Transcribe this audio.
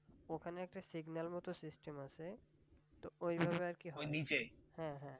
ওখানে একটা signal মত system আছে তো ওইভাবে আর কি হয় হ্যাঁ হ্যাঁ।